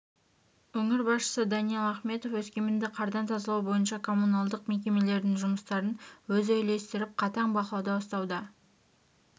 өңір басшысы даниал ахметов өскеменді қардан тазалау бойынша коммуналдық мекемелердің жұмыстарын өзі үйлестіріп қатаң бақылауда ұстауда